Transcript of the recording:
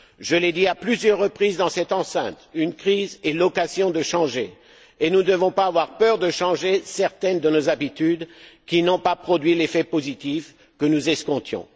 Je l'ai dit à plusieurs reprises dans cette enceinte, une crise est l'occasion de changer et nous ne devons pas avoir peur de changer certaines de nos habitudes, qui n'ont pas produit l'effet positif que nous escomptions.